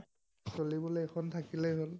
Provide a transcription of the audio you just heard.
চলিবলৈ এখন থাকিলেই হল।